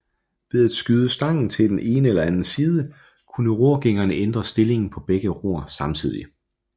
Ved at skyde stangen til den ene eller anden side kunne rorgængeren ændre stillingen på begge ror samtidig